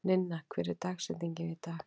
Ninna, hver er dagsetningin í dag?